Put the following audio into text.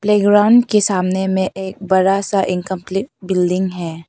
Playground के सामने में एक बड़ा सा इनकंप्लीट बिल्डिंग है।